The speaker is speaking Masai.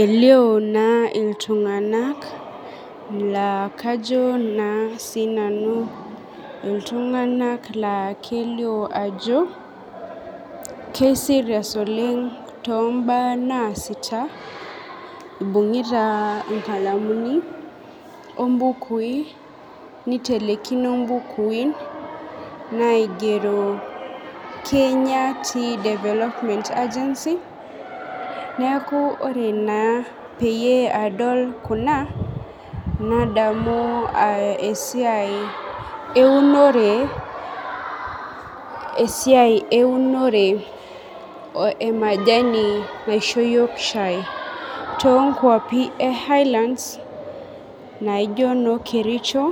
Elio na ltunganak lakajo na sinanu ltunganak la kelio ajo kei serious oleng tombaa naasita ibungita inkalamini ombuki nitelekino mbukui naigero Kenya tea development agency neakubore naaa peyie adol kuna nadamau esiai eunore emajani naisho yiok shai tonkwapi e highlands naijo kericho